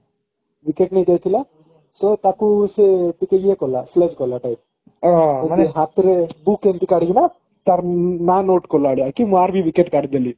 wicket ନେଇ ଯାଇଥିଲା ସେ ତାକୁ ସେ ଟିକେ ଇଏ କଲା କଲା type ମାନେ ହାତରେ book ଏମିତି କାଢିକିନା ତାର ନା note କଲା ଭଳିଆ କି ମୁଁ ୟାର ବି wicket କାଢି ଦେଲି